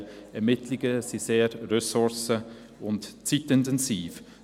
Die Ermittlungen sind sehr ressourcen- und zeitintensiv.